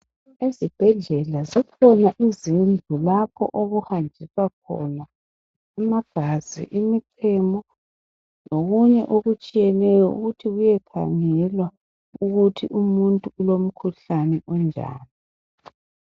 Ezibhedlela kukhona lapho okuhanjiswa khona amagazi ,imichemo lokunye okutshiyeneyo ukuthi kuyekhangelwa ukuthi umuntu ulomkhuhlane onjani .